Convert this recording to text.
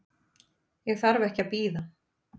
Ég þarf ekki að bíða.